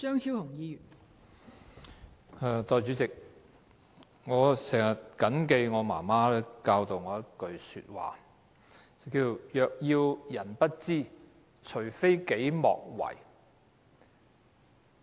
代理主席，我經常緊記我媽媽教導我的一句話："若要人不知，除非己莫為"。